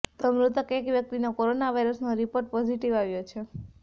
તો મૃતક એક વ્યક્તિનો કોરોના વાયરસનો રિપોર્ટ પોઝિટિવ આવ્યો છે